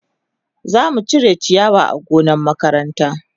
Za mu cire ciyawa a gonna makaranta.